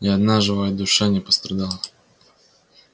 ни одна живая душа не пострадала